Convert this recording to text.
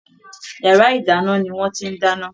Yàrá ìdáná ni wọ́n ti ń dáná.